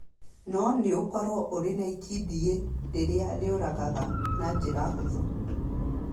no nĩ ũkoroku harĩ itindiĩ rĩrĩa rĩũragaga na njĩra hũthũ.